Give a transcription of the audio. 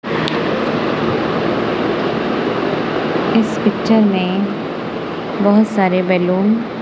इस पिक्चर में बहोत सारे बैलून --